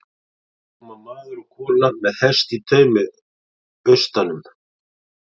Þarna koma maður og kona með hest í taumi austan um